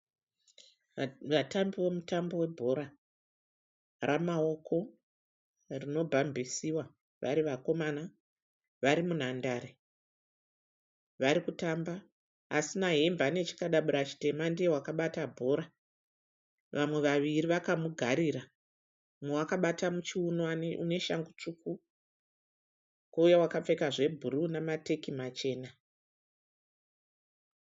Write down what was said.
Vatambi vomutambo webhora ramaoko rinobhambisiwa vari vakomana. Vari munhandare. Vari kutamba. Asina hembe ane chikadabura chitema. Ndiye wakabata bhora. Vamwe vaviri vakamugarira. Umwe wakabata muchiuno, ane shangu tsvuku. Kouya akapfeka zvebhuruu nemateki machena.